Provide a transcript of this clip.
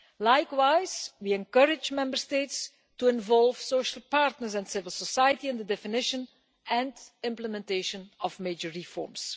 Likewise, we encourage Member States to involve social partners and civil society in the definition and implementation of major reforms.